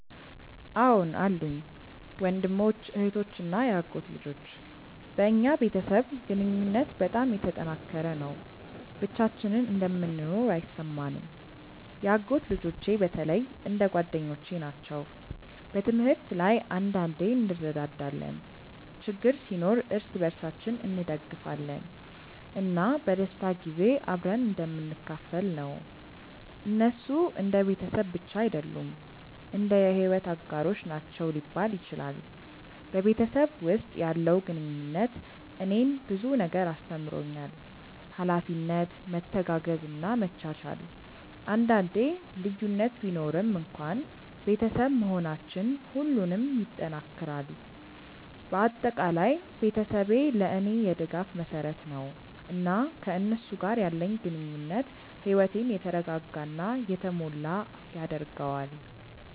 አዎን አሉኝ፤ ወንድሞች፣ እህቶች እና የአጎት ልጆች። በእኛ ቤተሰብ ግንኙነት በጣም የተጠናከረ ነው፣ ብቻችንን እንደምንኖር አይሰማንም። የአጎት ልጆቼ በተለይ እንደ ጓደኞቼ ናቸው። በትምህርት ላይ አንዳንዴ እንረዳዳለን፣ ችግር ሲኖር እርስ በርሳችን እንደግፋለን፣ እና በደስታ ጊዜ አብረን እንደምንካፈል ነው። እነሱ እንደ ቤተሰብ ብቻ አይደሉም፣ እንደ የሕይወት አጋሮች ናቸው ሊባል ይችላል። በቤተሰብ ውስጥ ያለው ግንኙነት እኔን ብዙ ነገር አስተምሮኛል፤ ኃላፊነት፣ መተጋገዝ እና መቻቻል። አንዳንዴ ልዩነት ቢኖርም እንኳን ቤተሰብ መሆናችን ሁሉንም ይጠናክራል። በአጠቃላይ ቤተሰቤ ለእኔ የድጋፍ መሰረት ነው፣ እና ከእነሱ ጋር ያለኝ ግንኙነት ሕይወቴን የተረጋጋ እና የተሞላ ያደርገዋል።